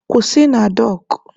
Kwụsị na dọọkụ!